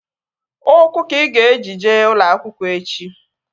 Ụkwụ ka ị ga-eji jee ụlọ akwụkwọ echi!